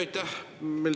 Aitäh!